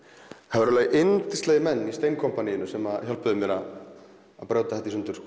það voru yndislegir menn í Steinkompaníinu sem hjálpuðu mér að brjóta þetta í sundur